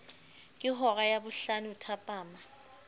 ke hora ya bohlano thapama